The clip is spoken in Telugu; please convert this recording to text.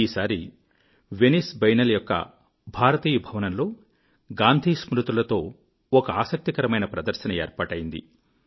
ఈ సారి వెనైస్ బియన్నాలే యొక్క భారతీయ భవనంలో గాంధీ స్మృతులతో ఒక ఆసక్తికరమైన ప్రదర్శన ఏర్పాటయింది